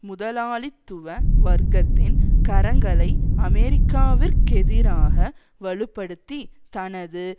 முதலாளித்துவ வர்க்கத்தின் கரங்களை அமெரிக்காவிற்கெதிராக வலுப்படுத்தி தனது